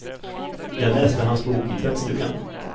Jag läste hans bok i tvättstugan.